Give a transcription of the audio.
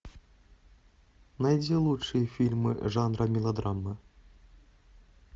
найди лучшие фильмы жанра мелодрама